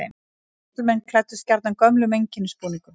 Karlmenn klæddust gjarnan gömlum einkennisbúningum.